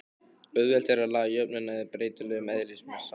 Auðvelt er að laga jöfnuna að breytilegum eðlismassa.